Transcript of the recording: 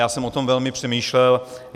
Já jsem o tom velmi přemýšlel.